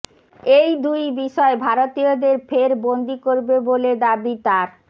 এই দুই বিষয় ভারতীয়দের ফের বন্দি করবে বলে দাবি তাঁর